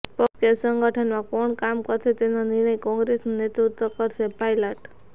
પક્ષ કે સંગઠનમાં કોણ કામ કરશે તેનો નિર્ણય કોંગ્રેસનું નેતૃત્વ કરશેઃ પાયલટ